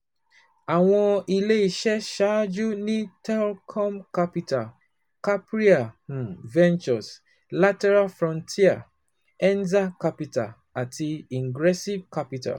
Àwọn ilé iṣẹ́ ṣáájú ni TLcom capital, Capria um ventures, Lateral Frontier, Enza capital àti ingressive capital.